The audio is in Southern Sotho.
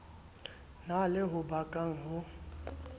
na le ho bakang ho